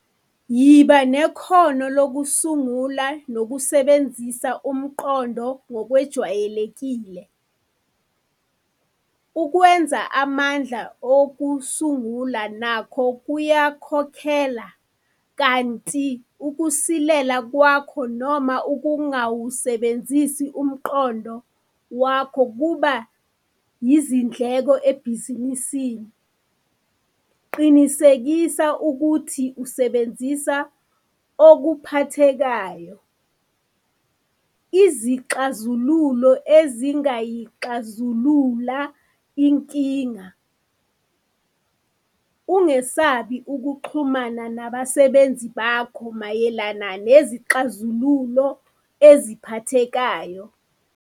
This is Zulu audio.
YIBA NEKHONO LOKUSUNGULA NOKUSEBENZISA UMQONDO NGOKWEJWAYELEKILE Ukwenza amandla okusungula nakho kuyakhokhela kanti ukusilela kwako noma ukungawusebenzisi umqondo wakho kuba yizindleko ebhizinisini. Qinisekisa ukuthi usebenzisa okuphathekayo, izixazululo ezingayixazulula inkinga. Ungesabi ukuxhumana nabasebenzi bakho mayelana nezixazululo eziphathekayo.